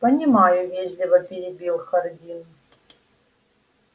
понимаю вежливо перебил хардин